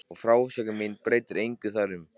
Og frásögn mín breytir engu þar um.